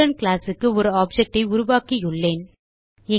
student classக்கு ஒரு object ஐ உருவாக்கியுள்ளேன்